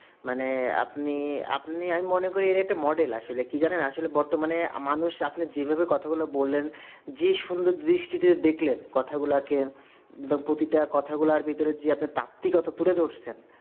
মানে আপনি আপনি আমি মনে করি এর একটা model আছে আসলে কি জানেন আসলে বর্তমানে মানুষ আপনি যেভাবে কথা গুলো বললেন যে সুন্দর দৃষ্টিতে দেখলেন কথাগুলাকে বা প্রতিটা কথাগুলার যে আপনার তাত্ত্বিকথা তুলে ধরেছেন